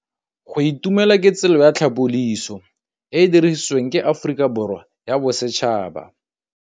Go itumela ke tsela ya tlhapolisô e e dirisitsweng ke Aforika Borwa ya Bosetšhaba.